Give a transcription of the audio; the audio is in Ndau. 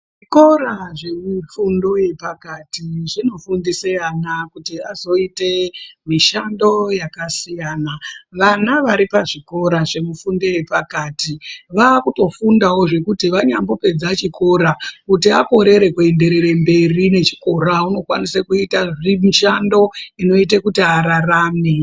Zvikora zvemifundo yepakati zvinofundise ana kuti azoite mishando yakasiyana. Vana vari pazvikora zvemifundo yepakati vaakutofundawo zvekuti vanyambopedza chikora kuti akorere kuenderere nechikora unokwanisa kuite mishando inoite kuti ararame.